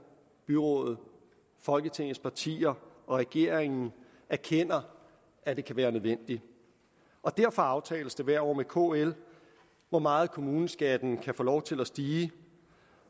byrådene folketingets partier og regeringen erkender at det kan være nødvendigt derfor aftales det hvert år med kl hvor meget kommuneskatten kan få lov til at stige